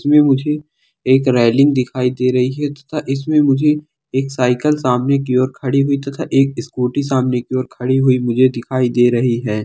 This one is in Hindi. इसमें मुझे एक रेलिंग दिखाई दे रही है जितना इसमें मुझे एक साइकिल सामने की और खड़ी हुई दिखाई एक स्कूटी सामने की और खड़ी हुई मुझे दिखाई दे रही है।